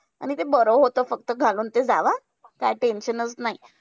आणि ते बरं होतं. फक्त घालून ते जावा. काही tension चं नाही.